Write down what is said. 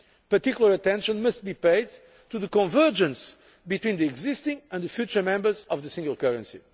Particular attention must be paid to convergence between the existing and the future members of the single currency.